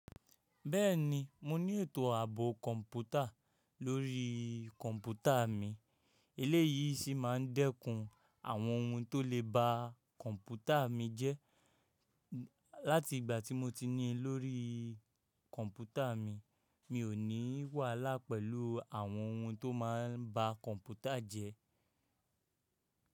Bẹ́ẹ̀ni, mo ní ètò à ààbò kọ̀ǹpútà lórí kọ̀ǹpútà mi. Eléyìí sì máa ń dẹ́kun àwọn ohun tó le ba kọ̀ǹpútà mi jẹ́. Láti ìgbà tí mo ti ní i lórí kọ̀ǹpútà mi, mi ò ní wàhálà pẹ̀lú àwọn ohun tó máa ń ba kọ̀ǹpútà jẹ́.